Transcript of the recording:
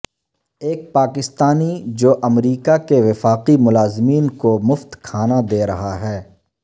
ایک پاکستانی جو امریکہ کے وفاقی ملازمین کو مفت کھانا دے رہا ہے